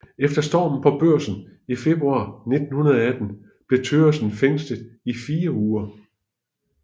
Efter stormen på Børsen i februar 1918 blev Thøgersen fængslet i 4 uger